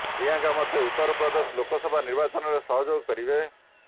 ପ୍ରିୟଙ୍କା ମତେ ଉତ୍ତର ପ୍ରଦେଶ ଲୋକସଭା ନିର୍ବାଚନରେ ସହଯୋଗ କରିବେ